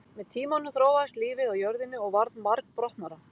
Með tímanum þróaðist lífið á jörðinni og varð margbrotnara.